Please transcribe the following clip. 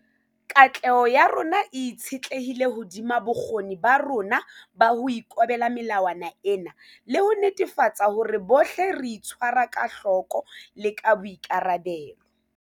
Katleho ya rona e itshetlehile hodima bokgoni ba rona ba ho ikobela melawana ena le ho netefatsa hore bohle re itshwara ka hloko le ka boikarabelo.